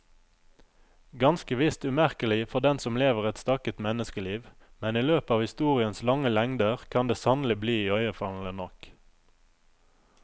Ganske visst umerkelig for den som lever et stakket menneskeliv, men i løpet av historiens lange lengder kan det sannelig bli iøynefallende nok.